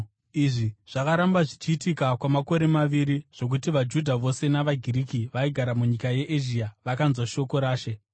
Izvi zvakaramba zvichiitwa kwamakore maviri, zvokuti vaJudha vose navaGiriki vaigara munyika yeEzhia vakanzwa shoko raShe.